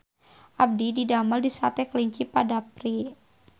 Abdi didamel di Sate Kelinci Pak Dapri